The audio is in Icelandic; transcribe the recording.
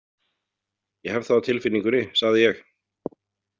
Ég hef það á tilfinningunni, sagði ég.